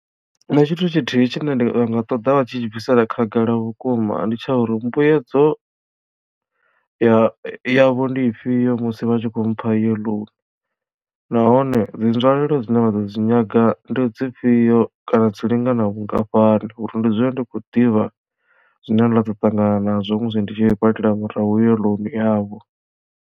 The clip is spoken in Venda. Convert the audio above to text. Nṋe tshithu tshithihi tshine nda nga ṱoḓa vha tshi tshi bvisela khagala vhukuma ndi tsha uri mbuedzo ya yavho ndi ifhio musi vha tshi kho mpha iyo ḽounu nahone dzi nzwalelo dzine vha ḓo dzi nyaga ndi dzifhio kana dzi lingana vhungafhani uri ndi dzule ndi khou ḓivha zwine nda ḓo ṱangana nazwo musi ndi tshi i badela murahu iyo loan yavho.